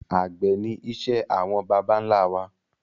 Àgbẹ̀ ni iṣẹ́ àwọn bàbà ńlá wa